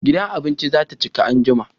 Gidan abincin za ta cika anjima